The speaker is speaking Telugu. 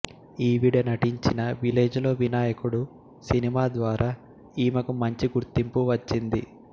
ఈవిడ నటించిన విలేజ్ లో వినాయకుడు సినిమా ద్వారా ఈమెకు మంచి గుర్తింపు వచ్చింది